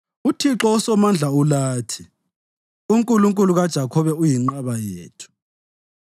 UThixo uSomandla ulathi; uNkulunkulu kaJakhobe uyinqaba yethu.